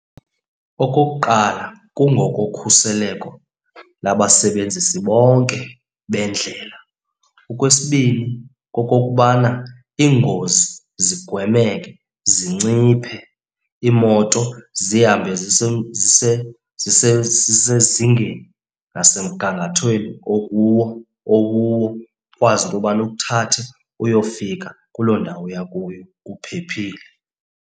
Okokuqala kungokokhuseleko labasebenzisi bonke bendlela. Okwesibini kokokubana iingozi zigwemeke, zinciphe. Iimoto zihambe zisezingeni nasemgangathweni okuwo, okuwo ukwazi into yobana ikuthathe uyofika kuloo ndawo uya kuyo uphephile.